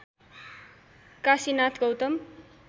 Kashinath Gautam